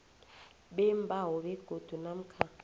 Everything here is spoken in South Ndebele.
beembawo begodu namkha